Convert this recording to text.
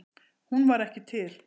Hún var ekki til.